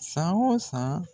San o san